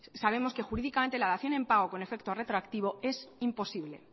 sabemos que jurídicamente la dación en pago con efecto retroactivo es imposible